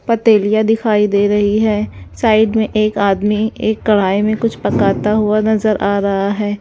पतैलिया दिखाई दे रही हैं साइड में एक आदमी एक कढ़ाई में कुछ पकाता हुआ नजर आ रहा हैं।